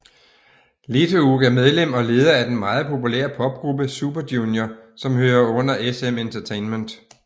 Leeteuk er medlem og leder af den meget populære popgruppe Super Junior som hører under SM Entertainment